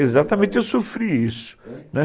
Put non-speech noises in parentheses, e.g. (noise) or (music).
Exatamente, eu sofri isso (unintelligible)